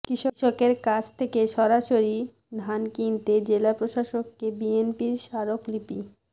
কৃষকের কাছ থেকে সরাসরি ধান কিনতে জেলা প্রশাসককে বিএনপির স্মারকলিপি